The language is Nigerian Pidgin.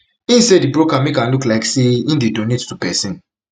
im say di broker make am look like say im dey donate to pesin